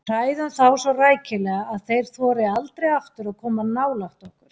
Við hræðum þá svo rækilega að þeir þori aldrei aftur að koma nálægt okkur.